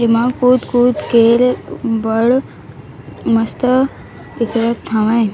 एमा कूद-कूद के बढ़ मस्त फिसलत हावय।